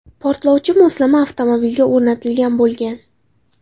Portlovchi moslama avtomobilga o‘rnatilgan bo‘lgan.